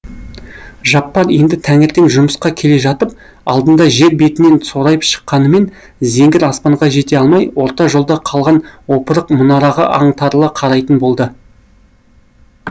жаппар енді таңертең жұмысқа келе жатып алдында жер бетінен сорайып шыққанымен зеңгір аспанға жете алмай орта жолда қалған опырық мұнараға аңтарыла қарайтын болды